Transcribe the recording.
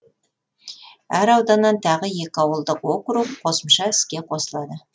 әр ауданнан тағы екі ауылдық округ қосымша іске қосылады